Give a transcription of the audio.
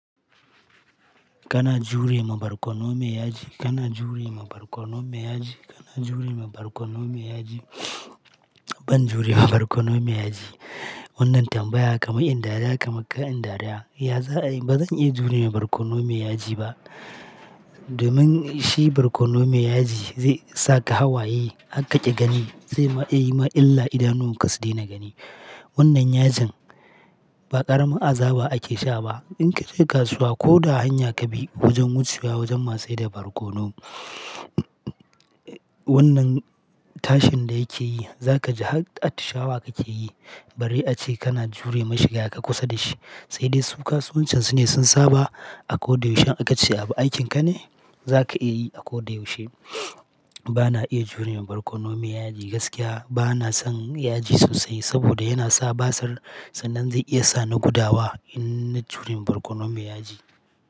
Kana jure ma barkono mai yaji, kana jure ma barkono mai yaji, kana jure ma barkono mai yaji. Ban jure ma barkono mai yaji. Wannan tambaya kamar in dariya kamar kar in dariya. Ya za'a yi? Ba zan iya jure ma barkono mai yaji ba. Domin shi barkono mai yaji zai saka hawaye har kaƙi gani, zai ma iya yi ma illa idanuwan ka sudaina gani. Wannan yajin ba ƙaramin azaba ake sha ba. In ka je kasuwa ko da hanya ka bi wajen wucewa wajen masu saida barkono, wannan tashin da yake yi za ka ji har atishawa kake yi. Bare ace kana jure mashi gaka kusa da shi. Sai dai su kasuwancan su ne sun saba. Kana jure ma barkono mai yaji, kana jure ma barkono mai yaji, kana jure ma barkono mai yaji. Ba na iya jure ma barkono mai yaji gaskiya. Ba na son yaji sosai saboda yana sa basir sannan zai iya sa ni gudawa in na jure ma barkono mai yaji.